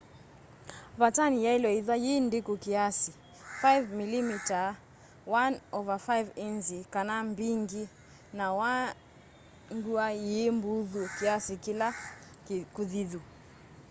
vatani yaile ithwa yi ndiku kiasi 5mm 1/5 inzi kana mbingi na i ngua yi mbuthu kiasi ila kuthithu